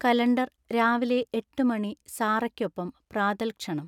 calendar രാവിലെ എട്ട്മണി Sara യ്‌ക്കൊപ്പം പ്രാതൽ ക്ഷണം